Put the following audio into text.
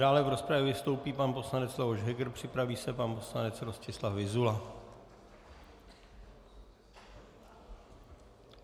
Dále v rozpravě vystoupí pan poslanec Leoš Heger, připraví se pan poslanec Rostislav Vyzula.